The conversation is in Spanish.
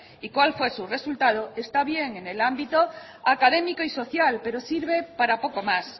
y cuál fue su resultado está bien en el ámbito académico y social pero sirve para poco más